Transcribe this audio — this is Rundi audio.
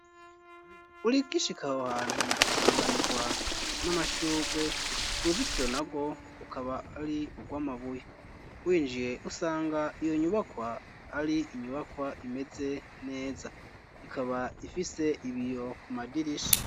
Urikoi ishikaho hantu usanganirwa n'amashurwe uruzitiro na rwo ukaba ari urwo amabuya winjiye usanga iyo nyubakwa ari inyubakwa imeze neza ikaba ifise ibiyo ku madirisha.